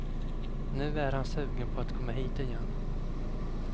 Nu är han sugen på att komma hit igen.